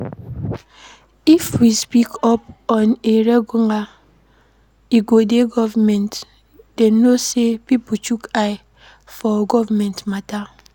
If we speak up on a regular e go di government know sey pipo chook eye for government matter